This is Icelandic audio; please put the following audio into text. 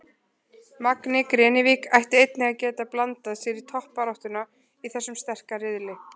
Magni Grenivík ætti einnig að geta blandað sér í toppbaráttuna í þessum sterka riðli.